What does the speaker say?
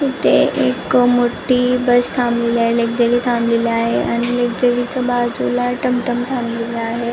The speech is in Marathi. इथे एक मोठी बस थाबलेली आहे लकझरी थाबलेली आहे आणि लकझरी च्या बाजुला टमटम थाबलेल आहे.